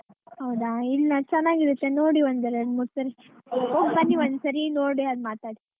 ಹೌದಾ ಇಲ್ಲಾ ಚೆನ್ನಾಗಿ ಇರುತ್ತೆ ನೋಡಿ ಒಂದ್ ಎರಡು ಮೂರು ಸರಿ ಹೋಗ್ ಬನ್ನಿ ಒಂದ್ಸರಿ ನೋಡಿ ಅವಾಗ್ ಮಾತಾಡಿ.